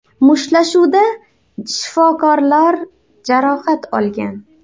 Mushtlashuvda shifokorlar jarohat olgan.